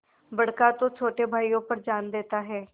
बड़का तो छोटे भाइयों पर जान देता हैं